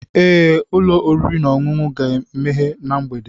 Ee, ụlọ oriri na ọṅụṅụ ga-emeghe na mgbede.